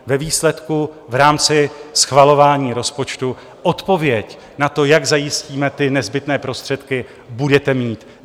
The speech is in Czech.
Ve výsledku v rámci schvalování rozpočtu odpověď na to, jak zajistíme ty nezbytné prostředky, budete mít.